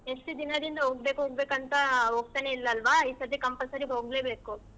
ಎಷ್ಟ್ ದಿನದಿಂದ ಹೋಗ್ಬೇಕ್ ಹೋಗ್ಬೇಕ್ ಅಂತಾ ಹೋಗ್ತಾನೆ ಇಲ್ಲ ಅಲ್ವಾ ಈ ಸತೆ compulsory ಹೋಗ್ಲೆಬೇಕು.